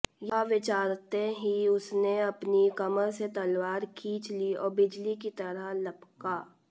यह विचारते ही उसने अपनी कमर से तलवार खींच ली और बिजली की तरह लपका